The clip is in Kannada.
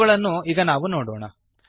ಇವುಗಳನ್ನು ಈಗ ನಾವು ನೋಡೋಣ